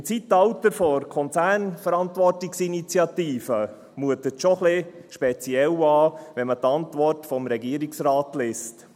Im Zeitalter der Konzernverantwortungsinitiative mutet es schon etwas speziell an, wenn man die Antwort des Regierungsrates liest.